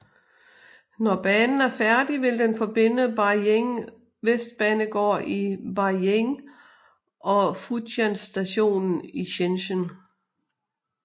Når banen er færdig vil den forbinde Beijing Vestbanegård i Beijing og Futian Stationen i Shenzhen